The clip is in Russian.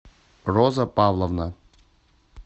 роза павловна